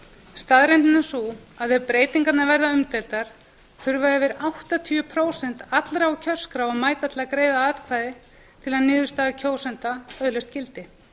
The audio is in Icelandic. staðreyndin er sú að ef breytingarnar verða umdeildar þurfa yfir áttatíu prósent allra á kjörskrá að mæta til að greiða atkvæði til að niðurstaða kjósenda öðlist gildi